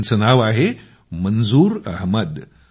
त्यांचं नाव आहे मंजूर अहमद